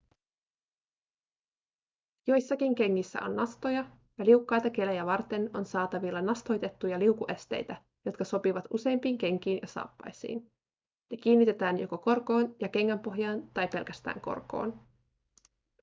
joissakin kengissä on nastoja ja liukkaita kelejä varten on saatavilla nastoitettuja liukuesteitä jotka sopivat useimpiin kenkiin ja saappaisiin ne kiinnitetään joko korkoon ja kengänpohjaan tai pelkästään korkoon